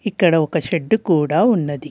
ఇక్కడ ఒక షెడ్డు కూడా ఉన్నది.